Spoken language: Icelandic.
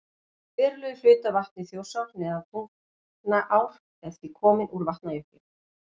Verulegur hluti af vatni Þjórsár neðan Tungnaár er því kominn úr Vatnajökli.